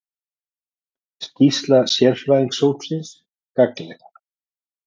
Skýrsla sérfræðingahópsins gagnleg